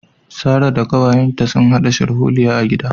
Sarah da kawayenta sun hada sharholiya a gida